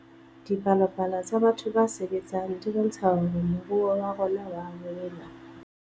Dipalopalo tsa batho ba sebetseng di bontsha hore moruo wa rona oa hola